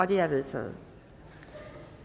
de er vedtaget